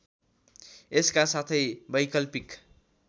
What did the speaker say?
यसका साथै वैकल्पिक